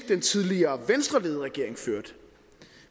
den tidligere venstreledede regering førte